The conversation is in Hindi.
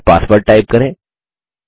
फिर पासवर्ड टाइप करें